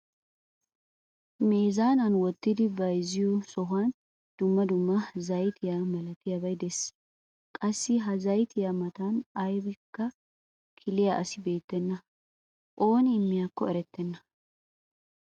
Meezaanan wottidi bayzziyoo sohuwaan dumma dumma zayttiyaa malatiyaabay de'ees. qassi ha zayttiyaa matan aybakka kiliyaa asi beettena. Ooni immiyaakkonne erettena.